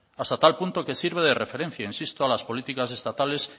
hasta tal punto que sirve de referencia insisto a las políticas estatales